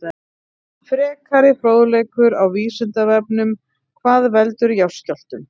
Frekari fróðleikur á Vísindavefnum: Hvað veldur jarðskjálftum?